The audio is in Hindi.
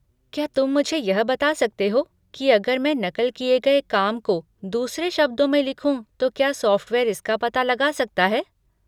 क्या तुम मुझे यह बता सकते हो कि अगर मैं नक़ल किए गए काम को दूसरे शब्दों में लिखूँ तो क्या सॉफ़्टवेयर इसका पता लगा सकता है?